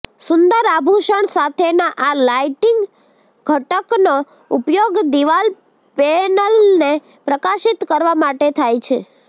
સુંદર આભૂષણ સાથેના આ લાઇટિંગ ઘટકનો ઉપયોગ દિવાલ પેનલને પ્રકાશિત કરવા માટે થાય છે